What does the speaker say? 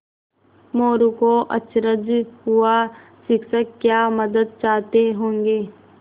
मोरू को अचरज हुआ शिक्षक क्या मदद चाहते होंगे